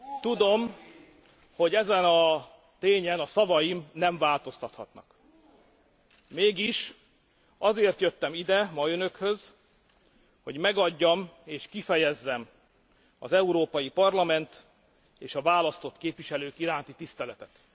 Tudom, hogy ezen a tényen a szavaim nem változtathatnak, mégis azért jöttem ide ma Önökhöz, hogy megadjam és kifejezzem az Európai Parlament és a választott képviselők iránti tiszteletet.